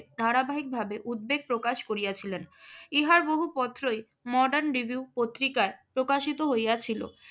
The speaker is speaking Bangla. ধারাবাহিকভাবে উদ্বেগ প্রকাশ করিয়াছিলেন। ইহার বহু পত্রই মডার্ন রিভিউ পত্রিকায় প্রকাশিত হইয়াছিল।